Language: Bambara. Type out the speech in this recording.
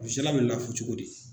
bɛ lafu cogo di